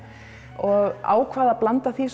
og ákvað að blanda því